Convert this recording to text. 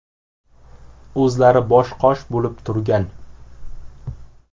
O‘zlari bosh-qosh bo‘lib turgan.